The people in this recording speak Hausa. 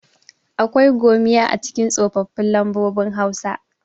akwai gomiya a cikin tsofaffin lambobin hausa